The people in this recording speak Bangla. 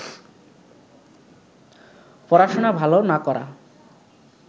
পড়াশোনা ভালো না করা